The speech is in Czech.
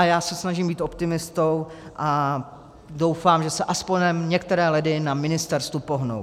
A já se snažím být optimistou a doufám, že se aspoň některé ledy na ministerstvu pohnou.